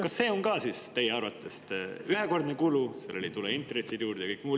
Kas see on ka teie arvates ühekordne kulu, millele ei tule juurde intressid ja kõik muu?